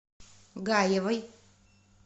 гаевой